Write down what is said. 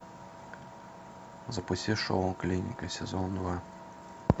запусти шоу клиника сезон два